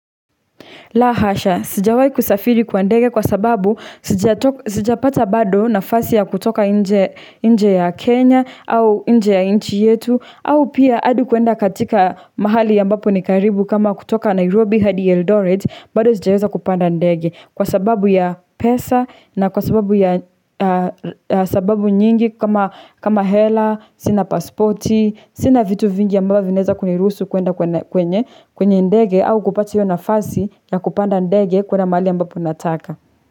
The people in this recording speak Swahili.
La hasha, sijawai kusafiri kwa ndege kwa sababu sijapata bado nafasi ya kutoka nje ya Kenya au nje ya nchi yetu au pia adi kuenda katika mahali ambapo ni karibu kama kutoka Nairobi hadi Eldoret bado sijaweza kupanda ndege kwa sababu ya pesa na kwa sababu ya sababu nyingi kama hela, sina pasporti, Sina vitu vingi ambavto vinaeza kuniruhusu kuenda kwenye kwenye ndege au kupata hiyo nafasi na kupanda ndege kwenye mahali ambapo unataka.